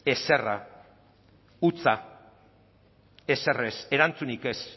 ezerra hutsa ezer ez erantzunik ez